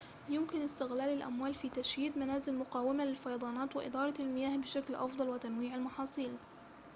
يمكن استغلال الأموال في تشيد منازل مقاومة للفيضانات وإدارة المياه بشكل أفضل وتنويع المحاصيل